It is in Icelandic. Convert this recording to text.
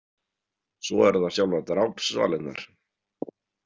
Svo eru það sjálfar drápssvalirnar.